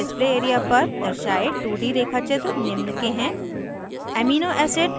इस gchempaint display area पर दर्शाये 2d रेखाचित्र निम्न के हैं